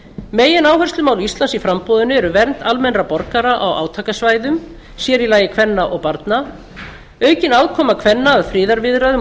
megináherslumál íslands í framboðinu eru vernd almennra borgara á átakasvæðum sér í lagi kvenna og barna aukin aðkoma kvenna að friðarviðræðum og